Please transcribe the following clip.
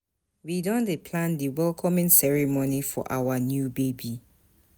We don dey plan di welcoming ceremony for our new baby.